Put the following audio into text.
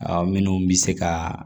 Aw minnu bɛ se ka